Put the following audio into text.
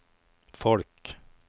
folk